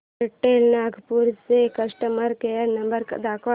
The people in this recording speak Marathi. एअरटेल नागपूर चा कस्टमर केअर नंबर दाखव